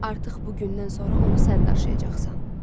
Artıq bu gündən sonra onu sən daşıyacaqsan.